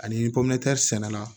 Ani ni pɔmɛri sɛnɛ la